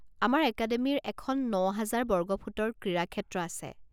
আমাৰ একাডেমিৰ এখন ন হাজাৰ বৰ্গফুটৰ ক্ৰীড়াক্ষেত্ৰ আছে।